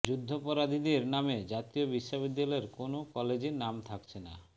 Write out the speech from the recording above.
যুদ্ধাপরাধীদের নামে জাতীয় বিশ্ববিদ্যালয়ের কোনো কলেজের নাম থাকছে না